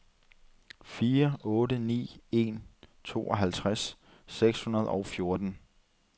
fire otte ni en tooghalvtreds seks hundrede og fjorten